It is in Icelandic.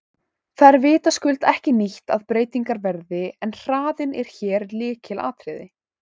Það er vitaskuld ekki nýtt að breytingar verði en hraðinn er hér lykilatriði.